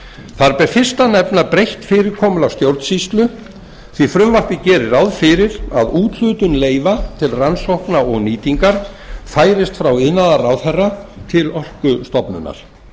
þar ber fyrst að nefna breytt fyrirkomulag stjórnsýslu því að frumvarpið gerir ráð fyrir að úthlutun leyfa til rannsókna og nýtingar færist frá iðnaðarráðherra til orkustofnunar